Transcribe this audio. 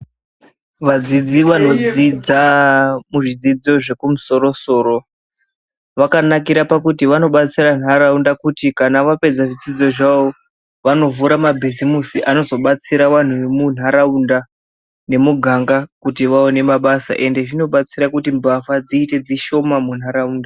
Vadzidzi vanodzidza kuzvidzidzo zvekumusoro soro wakanakira pakuti vanobatsira nharaunda kuti kana wapedza zvidzidzo zvavo wanovhura mabhizimusi anozobatsira vanhu wemunharaunda nemuganga kuti waone mabasa ende zvinobatsira kuti mbavha dziite dzishoma munharaunda.